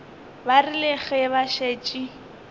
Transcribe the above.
ba rile ge ba šetše